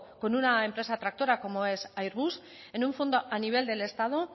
con una empresa tractora como el airbus en un fondo a nivel del estado